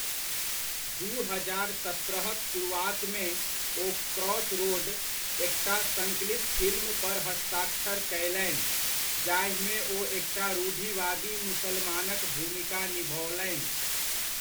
दू हजार सत्रह'क शुरूआतमे, ओ क्रॉसरोड, एकटा सङ्कलित फिल्म पर हस्ताक्षर कयलनि, जाहिमे ओ एकटा रूढ़िवादी मुसलमानक भूमिका निभओलनि।